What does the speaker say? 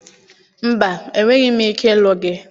Mba, enweghị m ike ịlụ gị.